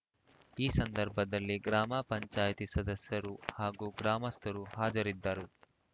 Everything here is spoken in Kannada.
ಈ ಸಂದರ್ಭದಲ್ಲಿ ಗ್ರಾಮ ಪಂಚಾಯ್ತಿ ಸದಸ್ಯರು ಹಾಗೂ ಗ್ರಾಮಸ್ಥರು ಹಾಜರಿದ್ದರು